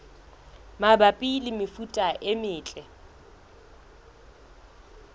mabapi le mefuta e metle